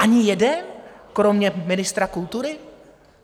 Ani jeden kromě ministra kultury?